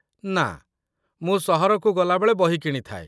ନା, ମୁଁ ସହରକୁ ଗଲାବେଳେ ବହି କିଣିଥାଏ।